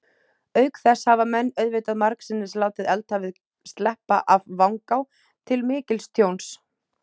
Auk þess hafa menn auðvitað margsinnis látið eldhafið sleppa af vangá, til mikils tjóns.